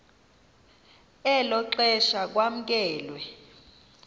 elo xesha kwamkelwe